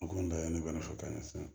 O kɔni laɲini kɔni fo ka taa ɲɛ sisan